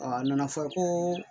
a nana fɔ ko